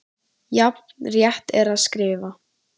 Jafn rétt er að skrifa